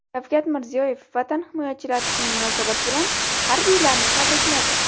Shavkat Mirziyoyev Vatan himoyachilari kuni munosabati bilan harbiylarni tabrikladi.